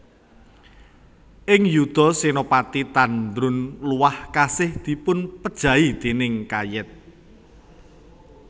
Ing yuda Senapati Tandrun Luah kasih dipunpejahi déning Kayet